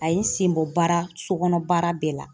A ye n senbɔ baara sokɔnɔn baara bɛɛ la.